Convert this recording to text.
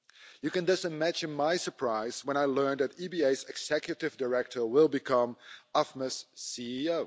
You can just imagine my surprise when I learned that the EBA's Executive Director will become AFME's CEO.